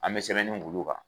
An mɛ sɛbɛnni k'olu kan.